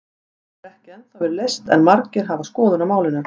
Hún hefur ekki ennþá verið leyst en margir hafa skoðun á málinu.